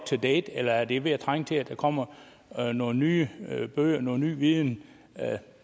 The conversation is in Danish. to date eller er det ved at trænge til at der kommer nogle nye bøger med ny viden